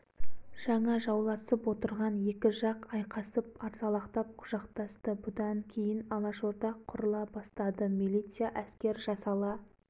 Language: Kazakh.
қой тастаңдар араздықты кәне татуласыңдар ғұбайдолла нұрғали аспандияр қарағым есенғали молдағали сәлімгерей кәне құшақтасыңдар ана жаншамен